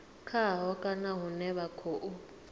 khaho kana hune vha khou